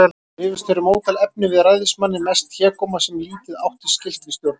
Rifust þeir um ótal efni við ræðismanninn, mest hégóma, sem lítið átti skylt við stjórnmál.